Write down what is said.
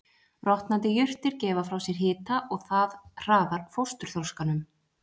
Rotnandi jurtir gefa frá sér hita og það hraðar fósturþroskanum.